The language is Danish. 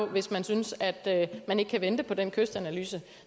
hvis man synes at man ikke kan vente på den kystanalyse